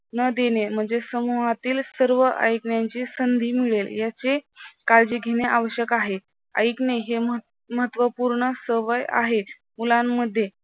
न देणे म्हणजे समूहातील सर्व ऐकण्याची संधी मिळेल याची काळजी घेणे आवश्यक आहे. ऐकणे हे महत्त्वपूर्ण सवय आहे. मुलांमध्ये